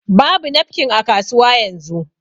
Babu nafkin a kasuwa yanzu